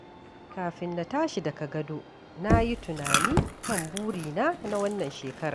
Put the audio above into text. Kafin na tashi daga gado, na yi tunani kan burina na wannan shekarar.